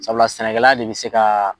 Sabula sɛnɛkɛla de be se ka